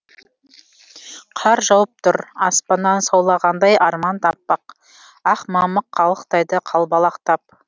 қар жауып тұр аспаннан саулағандай арман да аппақ ақ мамық қалықтайды қалбалақтап